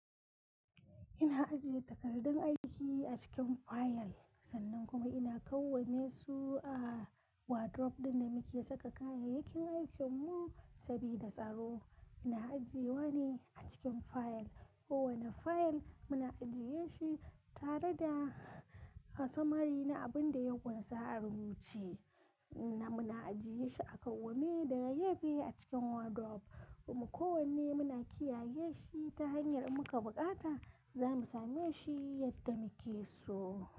Ina ajiye takardun aiki a cikin fayil sannan kuma ina kawone su a wadrof ɗin da muke saka kayayyakin aikinmu sabida tsaro. Ina ajiyewa ne a cikin fayal. Kowane fayil muna ajiye shi tare da Summary na abin da kunsa a rubuce na muna ajiye shi aka wane daga yafe a cikin wadrof kuma kowanne muna kiyaye shi ta hanyar muka in buƙata za mu same shi yadda muke so.